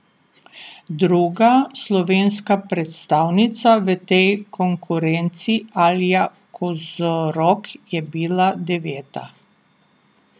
Druga slovenska predstavnica v tej konkurenci Alja Kozorog je bila deveta.